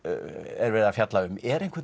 er verið að fjalla um er einhvern